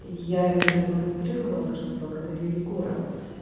я ему продемонстрировала за что благодарю егора